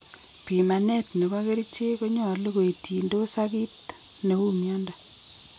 Pimanet nebo kerichek konyolu koitindos ag kiit neu mnyondo